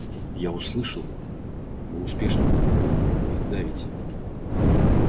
я слышал вы успешно их давите